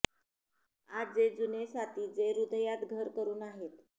आज जे जुने साथी जे हृदयात घर करुन आहेत